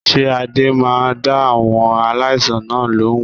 Ṣé Ade máa dá àwọn aláìsàn náà lóhùn?